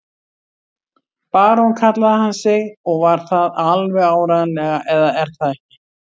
Barón kallaði hann sig og var það alveg áreiðanlega, eða er það ekki?